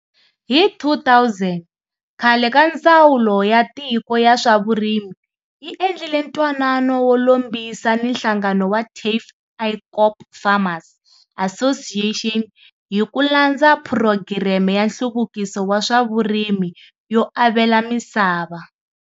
Hi 2000, khale ka Ndzawulo ya Tiko ya swa Vurimi yi endlile ntwanano wo lombisa ni nhlangano wa Tafelkop Farmers Association hi ku landza Phurogireme ya Nhluvukiso wa swa Vurimi yo Avela Misava.